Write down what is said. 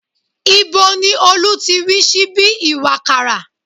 Ibo ni Olú ti rí síbí ìwàkàrà?